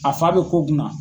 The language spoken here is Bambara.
A fa be ko kunna.